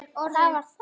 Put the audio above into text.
Það var það!